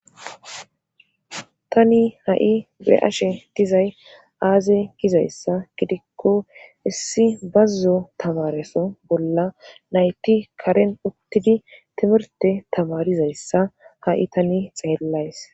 Tani ha7i be ashe dizay aaze gizayssa gidikko issi bazzo tamareso bolla nayti karen uttidi timirte tamarizayssa ha7i tani xeellays